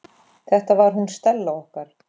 Þetta var hún Stella okkar.